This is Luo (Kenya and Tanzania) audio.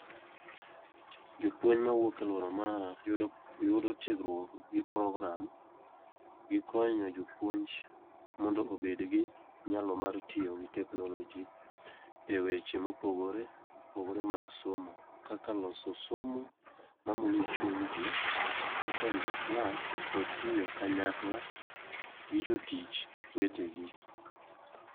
Japuonj mawuok e alwora mara yudo tiegruok gi programme gi konyo jopuonj mondo obed gi nyalo mar tiyo gi teknoloji e weche mopogore opogore mag somo kaka loso somo mamulo chuny ji, kaka rito klas kod tiyo kanyakla gi jotich wetegi.